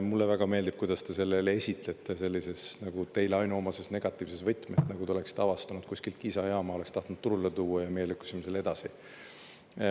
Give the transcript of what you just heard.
Mulle väga meeldib, kuidas te selle jälle esitate sellises nagu teile ainuomases negatiivses võtmes, nagu te oleks avastanud kuskilt Kiisa jaama, oleks tahtnud turule tuua ja me lükkasime selle edasi.